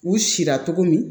U sira cogo min